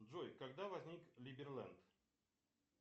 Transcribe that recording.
джой когда возник либерленд